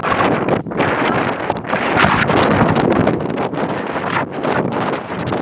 Magn þessara tveggja litarefna ræður endanlegum hárlit.